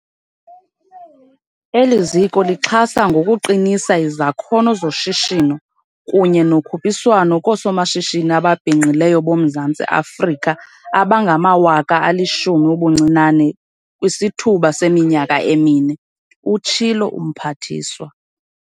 "Eli ziko lixhasa ngokuqinisa izakhono zoshishino kunye nokhuphiswano koosomashishini ababhinqileyo boMzantsi Afrika abangama-10 000 ubuncinane kwisithuba seminyaka emine," utshilo umphathiswa.